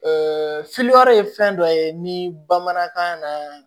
ye fɛn dɔ ye ni bamanankan na